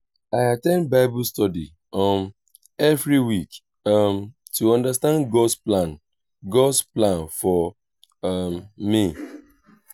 i at ten d bible study um every week um to understand god’s plan god’s plan for um me.